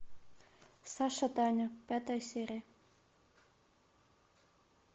саша таня пятая серия